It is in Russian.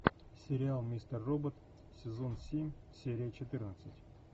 сериал мистер робот сезон семь серия четырнадцать